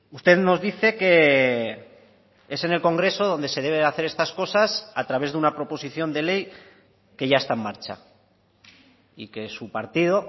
usted nos dice que es en el congreso donde se deben hacer estas cosas a través de una proposición de ley que ya está en marcha y que su partido